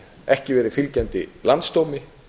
ekki verið fylgjandi landsdómi